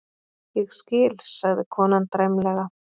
Ég skil, sagði konan dræmlega.